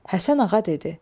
Həsən Ağa dedi.